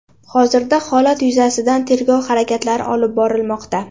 Hozirda holat yuzasidan tergov harakatlari olib borilmoqda.